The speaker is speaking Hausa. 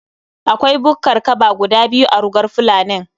Akwai bukkar kaba guda biyu a rugar fulanin